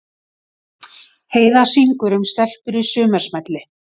Heiða syngur um stelpur í sumarsmelli